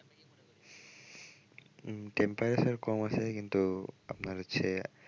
উম temperature কম আছে কিন্তু আপনার হচ্ছে,